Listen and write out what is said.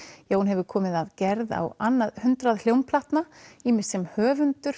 Jón hefur komið að gerð hátt á annað hundrað hljómplatna ýmist sem höfundur